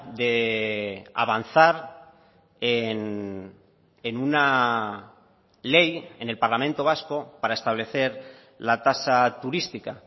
de avanzar en una ley en el parlamento vasco para establecer la tasa turística